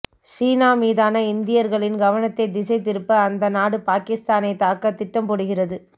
சீனா மீதான இந்தியர்களின் கவனத்தை திசை திருப்ப அந்த நாடு பாகிஸ்தானை தாக்க திட்டம் போடுகிறது